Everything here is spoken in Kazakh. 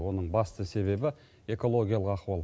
оның басты себебі экологиялық ахуал